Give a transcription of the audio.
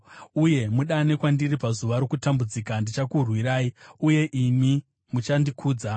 uye mudane kwandiri pazuva rokutambudzika; ndichakurwirai, uye imi muchandikudza.”